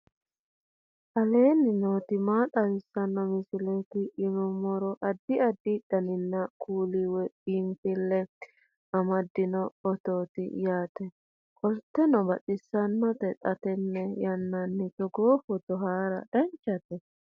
aleenni nooti maa xawisanno misileeti yinummoro addi addi dananna kuula woy biinfille amaddino footooti yaate qoltenno baxissannote xa tenne yannanni togoo footo haara danchate